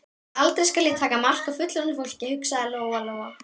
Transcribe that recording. Aldrei skal ég taka mark á fullorðnu fólki, hugsaði Lóa Lóa.